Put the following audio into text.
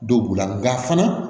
Don b'u la nka fana